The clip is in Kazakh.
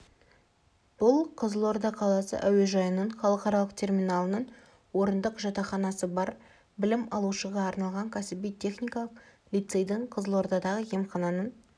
бұл қызылорда қаласы әуежайының халықаралық терминалының орындық жатақханасы бар білім алушыға арналған кәсіби-техникалық лицейдің қызылордадағы емхананың